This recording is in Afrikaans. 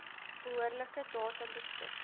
behoorlike data beskik